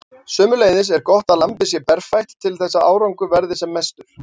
Sömuleiðis er gott að lambið sé berfætt til þess að árangur verði sem mestur.